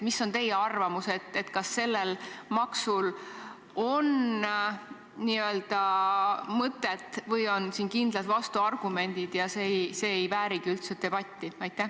Mis on teie arvamus, kas sellel maksul on mõtet või on siin kindlad vastuargumendid ja see ei väärigi üldse debatti?